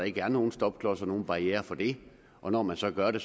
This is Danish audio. ikke er nogen stopklodser nogen barrierer for det og når man så gør det